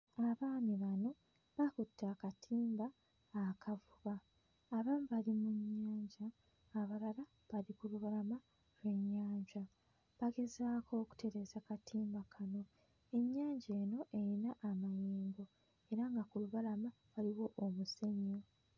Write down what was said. Abaami bano bakutte akatimba akavuba. Abamu bali mu nnyanja, abalala bali ku lubalama ly'ennyanja bagezaako okutereeza katimba kano. Ennyanja eno eyina amayengo era nga ku lubalama waliwo omusenyu.